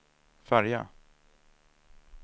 färja